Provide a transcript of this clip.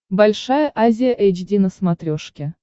большая азия эйч ди на смотрешке